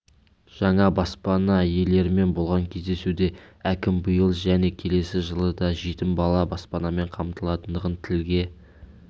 жаңа баспана иелерімен болған кездесуде әкім биыл және келесі жылы да жетім бала баспамен қамталатындығын тілге